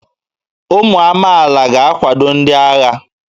Ụmụ amaala ga-akwado ndị agha